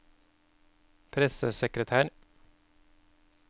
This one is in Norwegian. pressesekretær